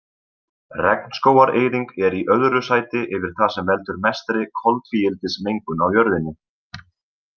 Regnskógareyðing er í öðru sæti yfir það sem veldur mestri koltvíildismengun á jörðinni.